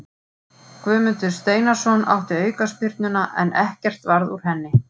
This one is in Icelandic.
Guðmundur Steinarsson átti aukaspyrnuna en ekkert varð úr henni.